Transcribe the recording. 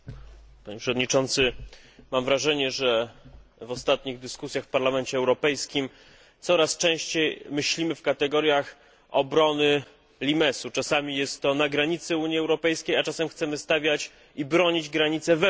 Mam wrażenie, że w ostatnich dyskusjach w Parlamencie Europejskim coraz częściej myślimy w kategoriach obrony limesu czasami jest to na granicy Unii Europejskiej, a czasami chcemy stawiać granice i bronić ich wewnątrz Unii Europejskiej.